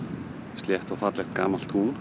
slétt og fallegt gamalt tún